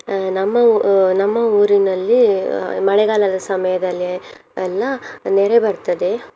ಅಹ್ ನಮ್ಮ ಊ~ ನಮ್ಮ ಊರಿನಲ್ಲಿ ಅಹ್ ಮಳೆಗಾಲದ ಸಮಯದಲ್ಲಿ ಎ~ ಎಲ್ಲ ನೆರೆ ಬರ್ತದೆ.